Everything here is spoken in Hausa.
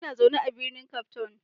Ina zaune a birnin Cape Town.